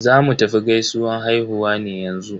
Zamu tafi gaisuwan haihuwa ne yanzu.